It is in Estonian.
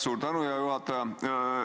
Suur tänu, hea juhataja!